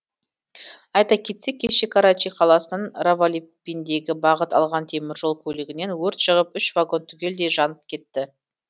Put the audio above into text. айта кетсек кеше карачи қаласынан равалпиндиге бағыт алған теміржол көлігінен өрт шығып үш вагон түгелдей жанып кетті